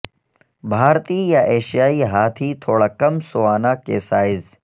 بھارتی یا ایشیائی ہاتھی تھوڑا کم سوانا کے سائز